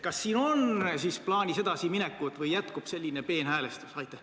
Kas siin on plaanis edasiminek või jätkub selline peenhäälestus?